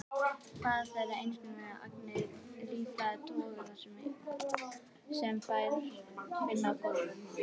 Fæða þeirra einskorðast við agnir af lífrænum toga sem þær finna á gólfum.